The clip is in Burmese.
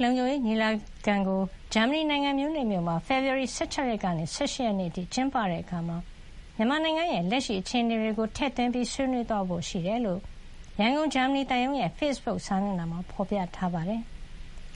လုံခြုံရေးညီလာခံကို ဂျာမဏီနိုင်ငံ မြူးနစ်မြို့မှာ ဖေဖော်ဝါရီ ၁၆ ရက်မှ ၁၈ ရက်အထိ ကျင်းပတဲ့အခါ မြန်မာနိုင်ငံရဲ့ လက်ရှိအခြေနေတွေကို ထည့်သွင်းဆွေးနွေးသွားဖို့ ရှိတယ်လို့ ရန်ကုန် ဂျာမဏီသံရုံးရဲ့ ဖေ့စ်ဘုတ်စာမျက်နှာမှာ ဖေါ်ပြထားပါတယ်။